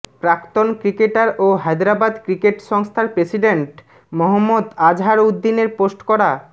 প্রাক্তন ক্রিকেটার ও হায়দরাবাদ ক্রিকেট সংস্থার প্রেসিডেন্ট মহম্মদ আজহারউদ্দিনের পোস্ট করা